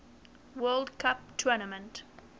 world cup tournament